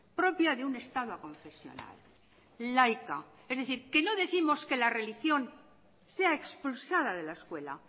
propia de un estado aconfesional laica es decir que no décimos que la religión sea expulsada de la escuela